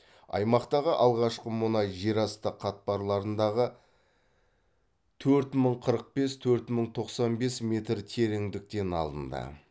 аймақтағы алғашқы мұнай жерасты қатпарларындағы төрт мың қырық бес төрт мың тоқсан бес метр тереңдіктен алынды